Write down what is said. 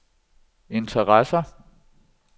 interesser